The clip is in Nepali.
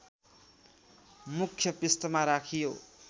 मुख्य पृष्ठमा राखियो